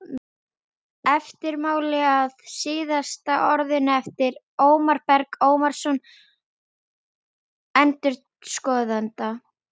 Eftirmáli að Síðasta orðinu eftir Ómar Berg Ómarsson endurskoðanda